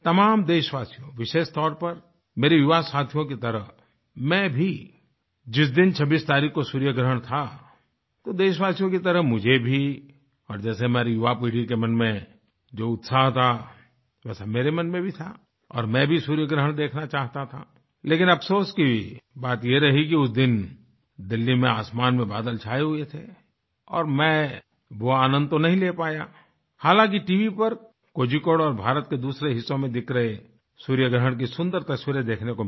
तमाम देशवासियों विशेष तौर पर मेरे युवासाथियों की तरह मैं भीजिस दिन 26 तारीख को सूर्यग्रहण था तो देशवासियों की तरह मुझे भी और जैसे मेरी युवापीढ़ी के मन में जो उत्साह था वैसे मेरे मन में भी था और मैं भी सूर्यग्रहण देखना चाहता था लेकिन अफसोस की बात ये रही कि उस दिन दिल्ली में आसमान में बादल छाए हुए थे और मैं वो आनन्द तो नहीं ले पाया हालाँकि टीवी पर कोझीकोड और भारत के दूसरे हिस्सों में दिख रहे सूर्यग्रहण की सुन्दर तस्वीरें देखने को मिली